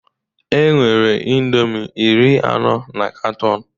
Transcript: Enwere indomi iri anọ na katọn